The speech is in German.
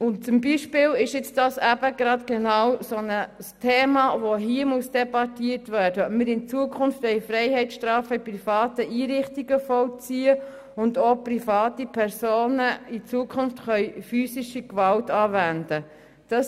Eines der Themen, die hier debattiert werden sollen, ist beispielsweise eben gerade die Frage, ob wir in Zukunft Freiheitsstrafen in privaten Einrichtungen vollziehen wollen und ob private Personen in Zukunft physische Gewalt anwenden können.